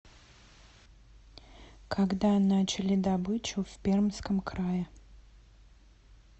когда начали добычу в пермском крае